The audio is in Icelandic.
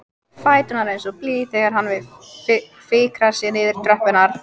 Fæturnir eins og blý þegar hann fikrar sig niður tröppurnar.